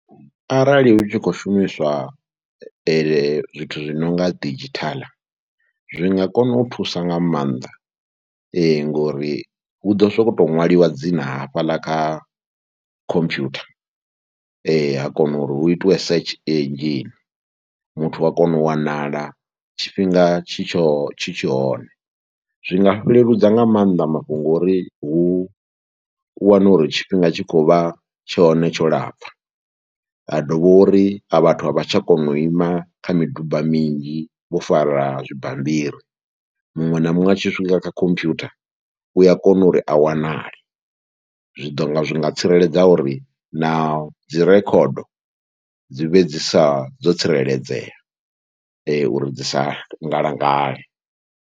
Arali hu tshi khou shumiswa zwithu zwi no nga didzhithaḽa zwi nga kona u thusa nga maanḓa ngori hu ḓo sokou ṅwaliwa dzina hafhaḽa kha khompyutha ha kona uri hu itiwe search engine. Muthu wa kona u wanala tshifhinga tshi tsho tshi tsho hone, zwi nga leludza nga maanḓa mafhungo uri hu u wane uri tshifhinga tshi khou vha tshone tsho lapfha. Ha dovha uri a vhathu a vha tsha kona u ima kha miduba minzhi vho fara zwibammbiri, muṅwe na muṅwe a tshi swika kha khompyutha u a kona uri a wanale. Zwi ḓo nga zwi nga tsireledza uri na dzi rekhodo dzi vhe dzi sa, dzo tsireledzea uri dzi sa ngalangale.